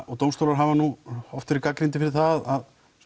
og dómstólar hafa oft verið gagnrýndir fyrir það að